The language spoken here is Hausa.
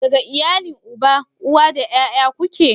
Daga iyalin uba, uwa da ƴaƴa ku ke?